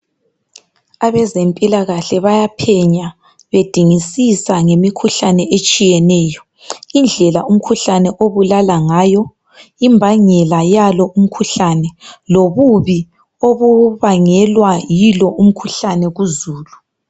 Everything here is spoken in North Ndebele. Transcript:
Abezempila kahle bayaphenya bedingisisa ngemikhuhlane etshiyeneyo indlela umkhuhlane obulala ngayo, imbangela yalo umkhuhlane lobubi obubangelwa yilo umkhuhlane kuzulu